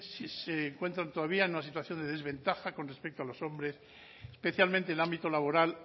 se encuentran todavía en una situación de desventaja con respecto a los hombres especialmente en el ámbito laboral